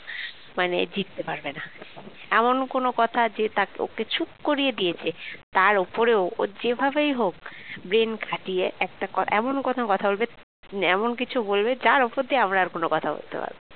মানে জিততে পারবে না এমন কোন কথা আছে তাকে ওকে চুপ করিয়ে দিয়েছে তার উপরে ও যেভাবেই হোক brain খাটিয়ে একটা এমন কোন কথা বলবে এমন কিছু বলবে যার উপর দিয়ে আমরা আর কোন কথা বলতে পারব না